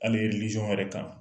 Ali wɛrɛ kan